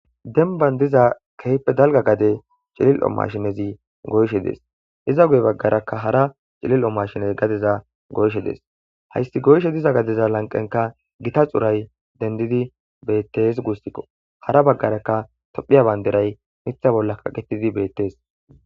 Denban diza keehippe dalga gade cilil'o maashinezi goyishe dees; iza guye bagaarakka hara cilil'o maashinezi gadeza goyishe dees; hayssi goyishe diza gadeza lanqenkka gita xuray dendidi beetees guusiko; hara bagaarakka tophphiya bandiray miththa bolla kaqetidi beetees.